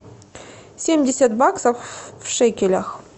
семьдесят баксов в шекелях